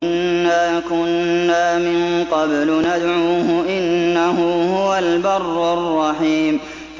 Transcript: إِنَّا كُنَّا مِن قَبْلُ نَدْعُوهُ ۖ إِنَّهُ هُوَ الْبَرُّ الرَّحِيمُ